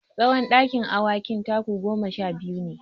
Tsawon dakin awakin taku goma sha biyu ne.